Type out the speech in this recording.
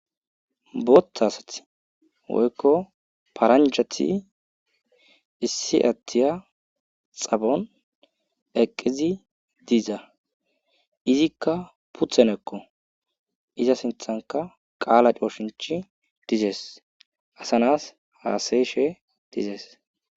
Botha sati woyko paranjati issi ayiya xaphon eqid diza izika puteneko, iza sinthan qala coshinchiy dizes, asa nas hasa'ishe dizesi.